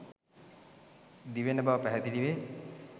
දිවෙන බව පැහැදිලි වේ.